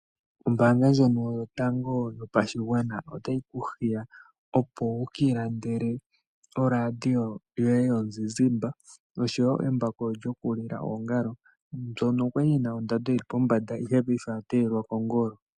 Ombaanga ndjono yotango yopashigwana otayi ku hiya opo wu ka ilandele ooRadio yomuzizimba osho wo embako lyokulila oongalo , mbyono kwa li yi na ondando yi li pombanda ashike paife oya teyelwa kongolo.